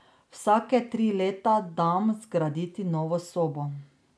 Vsake tri leta dam zgraditi novo sobo.